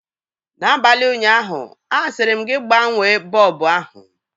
N'abalị ụnyaahụ, asịrị m gị gbanwee bọlbụ ahụ!